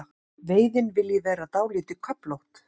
Veiðin vilji vera dálítið köflótt.